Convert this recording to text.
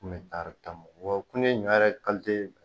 Kun bɛ taari tan bɔ wa kunne ɲɔ yɛrɛ